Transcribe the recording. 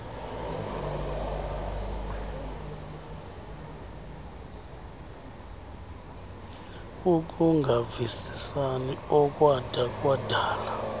ukungavisisani okwada kwadala